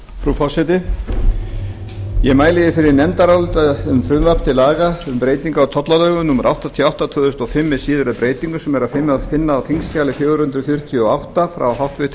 nefndaráliti um frumvarp til laga til breytinga á lögum um tollalögum númer áttatíu og átta tvö þúsund og fimm með síðari breytingum sem er að finna á þingskjali fjögur hundruð fjörutíu og átta frá háttvirtri